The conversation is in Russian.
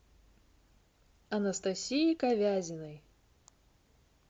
анастасии ковязиной